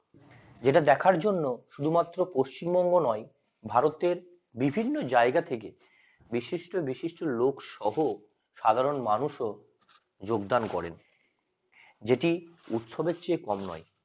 যেটা দেখার জন্য শুধুমাত্র পশ্চিমবঙ্গ নয় ভারতের বিভিন্ন জায়গা থেকে বিশিষ্ট বিশিষ্ট লোকসহ সাধারণ মানুষও যোগদান করেন যেটি উৎসবে চেয়ে কম নয়